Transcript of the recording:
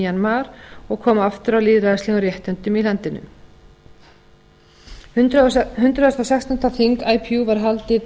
mjanmar og koma aftur á lýðræðislegum réttindum í landinu hundrað og sextánda þing ipu var haldið